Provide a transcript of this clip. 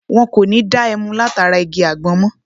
Wọ́n kò ní da ẹmu láti ara igi àgbọn mọ.